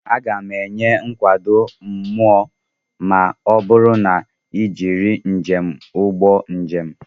Aga m enwe nkụda mmụọ ma ọ bụrụ na m ejiri njem ụgbọ njem.